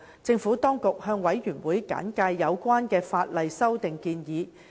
政府當局向事務委員會簡介有關的法例修訂建議。